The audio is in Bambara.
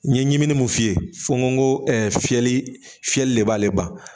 N ye ɲiminin mun f'i ye fo n ko fiyɛli de b'ale ban